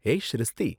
ஏய் ஷிரிஸ்த்தி!